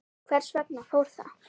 Hvers vegna fór það?